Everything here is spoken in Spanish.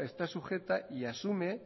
está sujeta y asume